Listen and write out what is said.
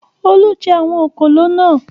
Olú jẹ àwọn òkòló náà.